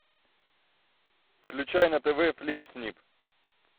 включай на тв флинк снип